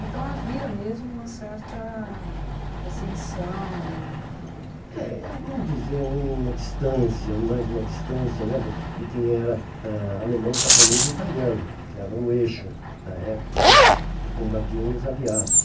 Então, havia mesmo uma certa perseguição, uma uma... É, vamos dizer, uma uma distância, mais uma distância né do de quem era alemão, japonês e italiano, que era o eixo da época né, que combatiam os aliados.